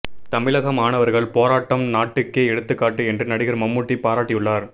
தமிழக மாணவர்கள் போராட்டம் நாட்டுக்கே எடுத்துக்காட்டு என்று நடிகர் மம்முட்டி பாராட்டியுள்ளார்